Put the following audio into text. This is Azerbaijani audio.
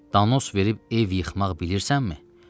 Danos verib ev yıxmaq bilirsənmi?